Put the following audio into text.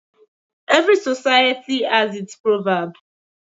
Every society has its proverb.